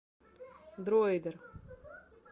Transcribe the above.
дроидер